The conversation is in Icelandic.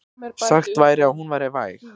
Sagt væri að hún væri væg.